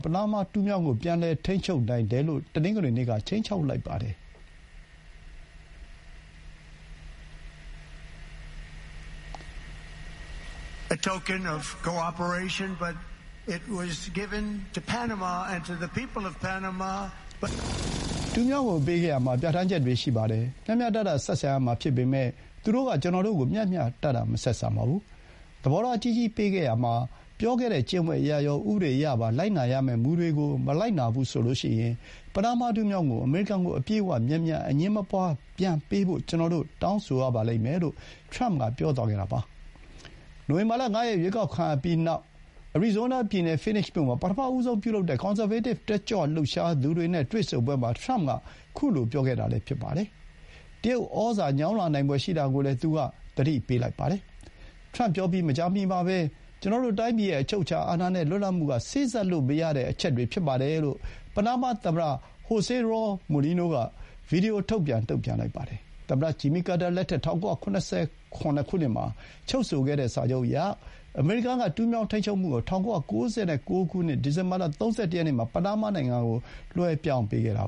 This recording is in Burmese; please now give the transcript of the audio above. ပနားမား တူးမြောင်းကို ပြန်လည် ထိန်းချုပ်နိုင်တယ်လို့ တနင်္ဂနွေနေ့က ခြိမ်းခြောက်လိုက်ပါတယ်။ “တူးမြောင်းကို ပေးခဲ့ရာမှာ ပြဋ္ဌာန်းချက်တွေ ရှိပါတယ်။ မျှမျှတတ ဆက်ဆံရမှာ ဖြစ်ပေမဲ့၊ သူတို့က ကျွန်တော်တို့ကို မျှမျှတတ မဆက်ဆံပါဘူး။ သဘောထား ကြီးကြီး ပေးခဲ့ရာမှာ ပြောခဲ့တဲ့ ကျင့်ဝတ်အရရော၊ ဥပဒေအရပါ လိုက်နာရမယ့် မူတွေကို မလိုက်နာဘူးဆိုရင်၊ ပနားမား တူးမြောင်းကို အမေရိကန်ကို အပြည့်အဝ၊ မြန်မြန်၊ အငြင်းမပွါး ပြန်ပေးဖို့ ကျွန်တော်တို့ တောင်းဆိုရပါလိမ့်မယ်” လို့ ထရမ့်က ပြောသွားခဲ့တာပါ။ နိုဝင်ဘာ ၅ ရက် ရွေးကောက်ခံရပြီးနောက် အရီဇိုးနား ပြည်နယ် Phoenix မြို့ မှာ ပထမဆုံး ပြုလုပ်တဲ့ ကွန်ဆာဗေးတစ် တက်ကြွလှုပ်ရှားသူတွေ နဲ့ တွေ့ဆုံပွဲမှာ ထရမ့်က အခုလို ပြောလိုက်တာလည်း ဖြစ်ပါတယ်။ တရုတ်ဩဇာ ညောင်းလာနိုင်ဖွယ် ရှိတာကိုလည်း သူက သတိ ပေးလိုက်ပါတယ်။ ထရမ့်ပြောပြီး မကြာမီမှာပဲ ကျွန်တော်တို့ တိုင်းပြည်ရဲ့ အချုပ်အခြာအာဏာနဲ့ လွတ်လပ်မှုက စေ့စပ်လို့ မရတဲ့ အချက်တွေ ဖြစ်ပါတယ် လို့ ပနားမား သမ္မတ José Raúl Mulino က ဗွီဒီယို ထုတ်ပြန် တုံ့ပြန်လိုက်ပါတယ်။ သမ္မတ ဂျင်မီကာတာ လက်ထက် ၁၉၇၇ ခုနှစ်မှာ ချုပ်ဆိုခဲ့တဲ့ စာချုပ်အရ၊ အမေရိကန် က တူးမြောင်း ထိန်းချုပ်မှုကို ၁၉၉၉ ဒီဇင်ဘာ ၃၁ ရက်နေ့မှာ ပနားမား နိုင်ငံကို လွှဲပြောင်းပေးခဲ့တာ